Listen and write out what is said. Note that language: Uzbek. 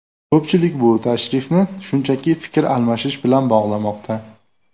Ko‘pchilik bu tashrifni shunchaki fikr almashish bilan bog‘lamoqda.